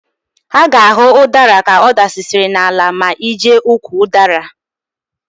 A ga-ahụ ụdara ka ọ dasịsịrị n'ala ma ị jee ukwu ụdara.